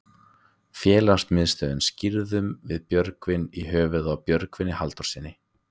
Félagsmiðstöðina skírðum við Björgvin í höfuðið á Björgvini Halldórssyni.